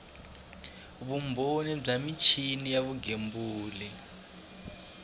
vumbhoni bya michini ya vugembuli